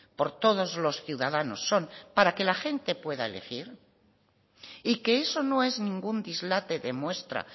por todos los ciudadanos son para que la gente pueda elegir y que eso no es ningún dislate demuestra